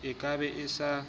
e ka beng e sa